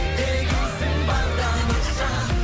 дегейсің барда мұрша